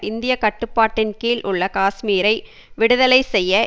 இந்திய கட்டுப்பாட்டின் கீழ் உள்ள காஷ்மீரை விடுதலை செய்ய